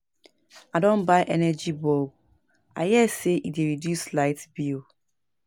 I don buy energy bulb, I hear sey e dey reduce light bill.